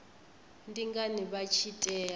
ndi ngani vha tshi tea